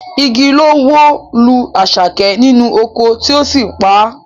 Igi ló wó lu Àṣàkẹ́ nínú oko tí ó sì pa á